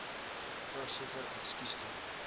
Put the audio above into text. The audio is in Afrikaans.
voorsitter ekskuus tog